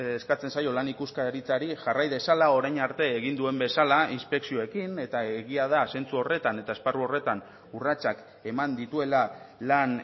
eskatzen zaio lan ikuskaritzari jarrai dezala orain arte egin duen bezala inspekzioekin eta egia da zentzu horretan eta esparru horretan urratsak eman dituela lan